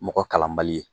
Mɔgɔ kalanbali